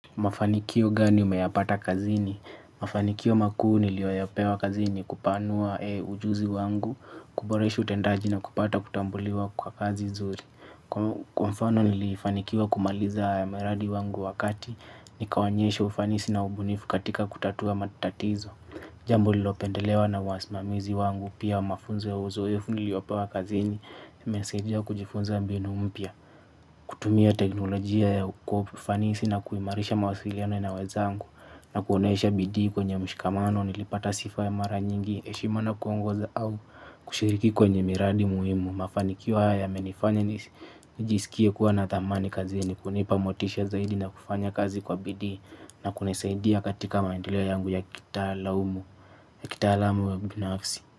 Mafanikio gani umeyapata kazini? Mafanikio makuu niliyopewa kazini kupanua ujuzi wangu, kuboresha utendaji na kupata kutambuliwa kwa kazi nzuri. Kwa mfano nilifanikiwa kumaliza miradi wangu wakati, nikaonyesha ufanisi na ubunifu katika kutatua matatizo. Jambo lilopendelewa na wasimamizi wangu, pia mafunzo ya uzoefu niliyopewa kazini, imenisaidia kujifunza mbinu mpya, kutumia teknolojia ya kwa ufanisi na kuimarisha mawasiliano na wenzangu na kuonesha bidii kwenye mshikamano nilipata sifa ya mara nyingi heshima na kuongoza au kushiriki kwenye miradi muhimu. Mafanikio haya yamenifanya nijisikie kuwa na thamani kazini kunipa motisha zaidi na kufanya kazi kwa bidii na kunisaidia katika maendeleo yangu ya kitaalamu ya kitaalamu ya binafsi.